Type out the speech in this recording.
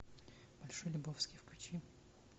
большой лебовски включи